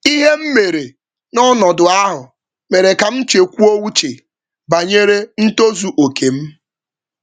Ụzọ m si jikwaa ọnọdụ ahụ mere ka m chekwuo banyere ntozu mmetụta um uche.